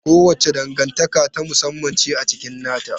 Kowace dangantaka ta musamman ce a cikin nata.